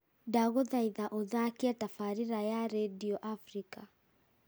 ndagũthaitha ũthaakie tabarĩra ya rĩndiũ africa